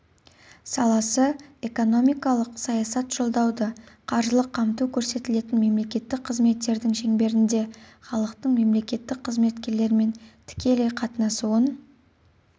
саласы экономикалық саясат жолдауды қаржылық қамту көрсетілетін мемлекеттік қызметтердің шеңберінде халықтың мемлекеттік қызметкерлермен тікелей қатынасуын